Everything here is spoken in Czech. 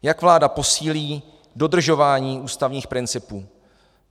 Jak vláda posílí dodržování ústavních principů?